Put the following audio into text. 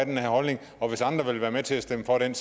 her holdning og hvis andre vil være med til at stemme for den